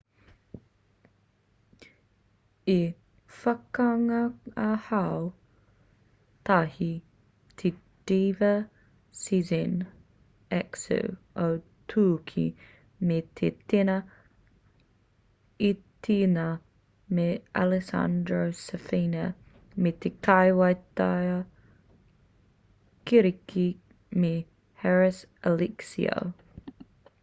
i whakangāhau tahi te diva sezen aksu o tūki me te tena itariana me alessandro safina me te kaiwaiata kiriki me haris alexiou